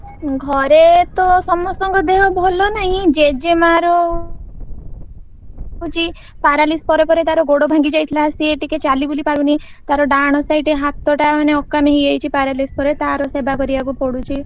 ଘରେ ତ ସମସ୍ତଙ୍କ ଦେହ ଭଲନାହି ଜେଜେ ମାଆ ର ହଉଛି paralysis ପରେ ପରେ ତାର ଗୋଡ ଭାଙ୍ଗି ଯାଇଥିଲା ସିଏ ଟିକେ ଚାଲିବୁଲି ପାରୁନି ତାର ଡାହାଣ side ହାତଟା ମାନେ ଅକାମି ହେଇଯାଇଛି paralysis ପରେ ତାର ସେବା କରିବାକୁ ପଡୁଛି।